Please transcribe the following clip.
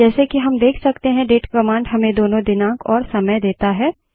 जैसे कि हम देख सकते हैं डेट कमांड हमें दोनों दिनांक और समय देता है